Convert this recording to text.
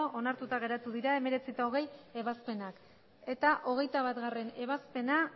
onartuta geratu dira hemeretzigarrena eta hogeigarrena ebazpenak hogeita batgarrena ebazpena